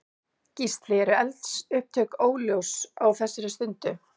Gísli: Eru eldsupptök ljós á þessari stundu?